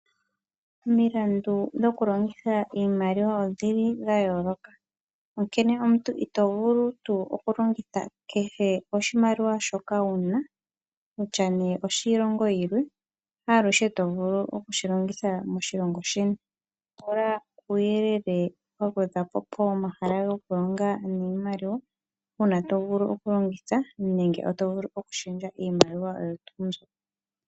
Omilandu dhokulongitha iimaliwa odhi li dha yooloka, onkene omuntu ito vulu tuu okulongitha kehe oshimaliwa shoka wu na, kutya ne oshilongo yilwe haaluhe to vulu oku shi longitha moshilongo sheni. Pula uuyelele wa gwedhwa po pomahala gokulonga niimaliwa, uuna to vulu okulongitha nenge to vulu okushendja iimaliwa oyo tuu mbyo.